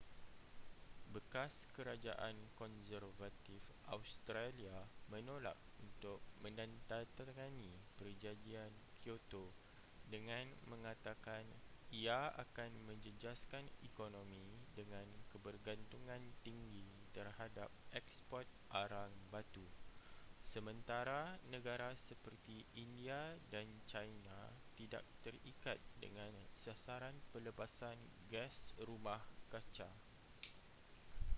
bekas kerajaan konservatif australia menolak untuk menandatangani perjanjian kyoto dengan mengatakan ia akan menjejaskan ekonomi dengan kebergantungan tinggi terhadap eksport arang batu sementara negara seperti india dan china tidak terikat dengan sasaran pelepasan gas rumah kaca